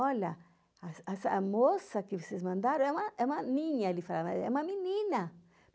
Olha, essa essa moça que vocês mandaram é uma é uma niña, ele falava, é uma menina.